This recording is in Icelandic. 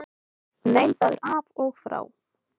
Nei það er af og frá.